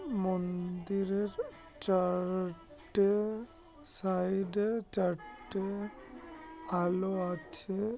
মন্দিরের চা-র-র-টে-এ সাইড -এ চারটে-এ আলো আছে।